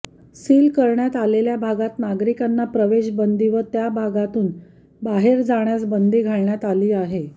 seal करण्यात आलेल्या भागात नागरिकांना प्रवेशबंदी व त्याभागातून बाहेर जाण्यास बंदी घालण्यात आली आहे